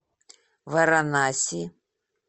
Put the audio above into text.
варанаси